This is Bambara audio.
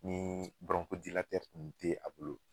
Ni bɔrɔnkodilatɛri kun te a bolo